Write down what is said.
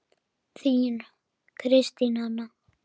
Þín, Kristín Anna.